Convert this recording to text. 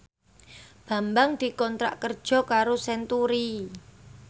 Bambang dikontrak kerja karo Century